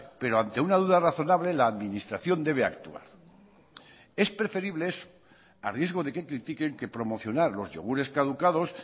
pero ante una duda razonable la administración debe actuar es preferible eso a riesgo de que critiquen que promocionar los yogures caducados